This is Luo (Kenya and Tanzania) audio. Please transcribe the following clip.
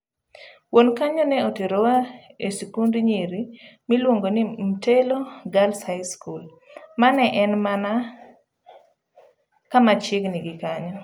Wuon kanyo ne oterowa e sikund nyiri miluongo ni Mtelo Girls High School mane en mana kamachiegni gi kanyo.